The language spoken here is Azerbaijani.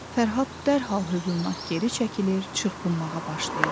Fərhad dərhal hövlnak geri çəkilir, çırpınmağa başlayırdı.